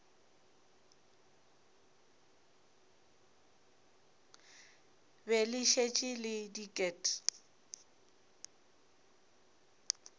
be le šetše le diket